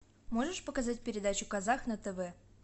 можешь показать передачу казах на тв